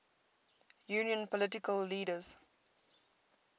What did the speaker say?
union political leaders